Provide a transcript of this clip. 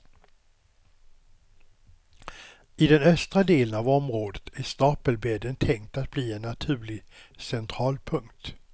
I den östra delen av området är stapelbädden tänkt att bli en naturlig centralpunkt.